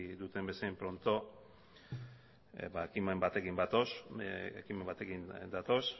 bezain pronto ba ekimen batekin datoz ekimen batekin datoz